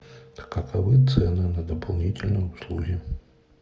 каковы цены на дополнительные услуги